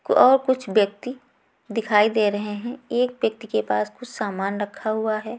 क और कुछ ब्यक्ति दिखाई दे रहें हैं एक व्यक्ति के पास कुछ सामान रखा हुआ हैं।